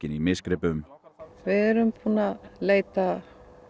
í misgripum við erum búin að leita